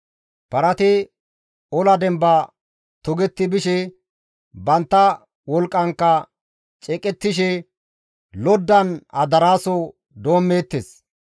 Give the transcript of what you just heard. Parati ola demba togetti bishe, bantta wolqqankka ceeqettishe, loddan adaraaso doommeettes.